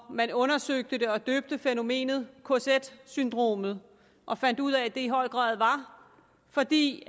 man undersøgte det og døbte fænomenet kz syndromet og fandt ud af at det i høj grad var fordi